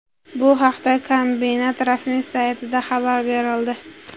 Bu haqda kombinat rasmiy saytida xabar berildi .